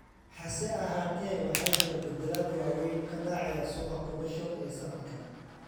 Hase ahaatee, waxaa jira beddelad waaweyn ka dhacaya suuqa kolosho ee sanadkan.